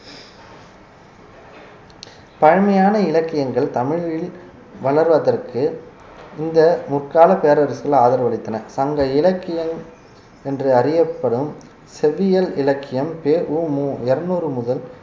பழமையான இலக்கியங்கள் தமிழில் வளர்வதற்கு இந்த முற்கால பேரரசுகள் ஆதரவளித்தனர் சங்க இலக்கியம் என்று அறியப்படும் செவ்வியல் இலக்கியம் பெ உ மு இருநூறு முதல்